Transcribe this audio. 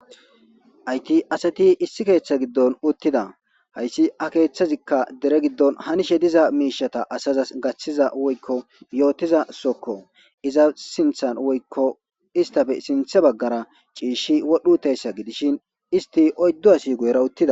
Haythi asathi issi keeththa giddon uththhida; haysi a keeththazikka dere giddon hanishe diza miishshatha asazas gaththida woykko yoothiza sohokko; iza sinththan woykko isththape sinththa baggara ciishshi wodhdho7iithessa gidishin isththi oyddu asi guyera uththida.